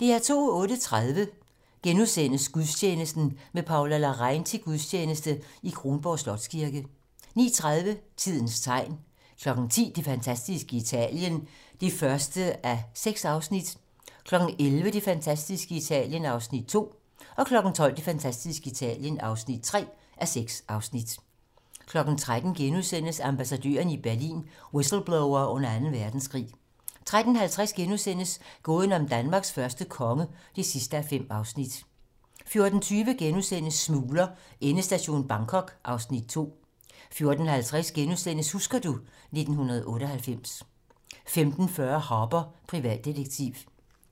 08:30: Gudstjeneste: Med Paula Larrain til gudstjeneste i Kronborg Slotskirke * 09:30: Tidens tegn 10:00: Det fantastiske Italien (1:6) 11:00: Det fantastiske Italien (Afs. 2) 12:00: Det fantastiske Italien (3:6) 13:00: Ambassadørerne i Berlin: Whistleblowere under Anden Verdenskrig * 13:50: Gåden om Danmarks første konge (5:5)* 14:20: Smugler: Endestation Bangkok (Afs. 2)* 14:50: Husker du ... 1998 * 15:40: Harper, privatdetektiv